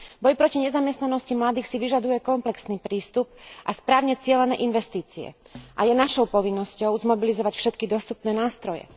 Boj proti nezamestnanosti mladých si vyžaduje komplexný prístup a správne cielené investície a je našou povinnosťou zmobilizovať všetky dostupné nástroje.